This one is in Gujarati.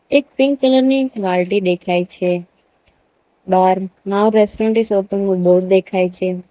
એક પિંક કલર ની બાલટી દેખાય છે bar now restaurant is open નું બોર્ડ દેખાય છે.